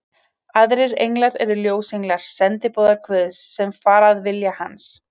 Aðrir englar eru ljósenglar, sendiboðar Guðs, sem fara að vilja hans.